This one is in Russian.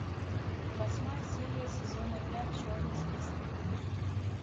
восьмая серия сезона пять черный список